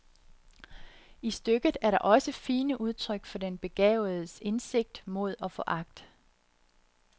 I stykket er der også fine udtryk for den begavedes indsigt, mod og foragt.